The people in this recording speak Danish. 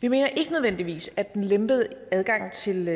vi mener ikke nødvendigvis at den lempede adgang til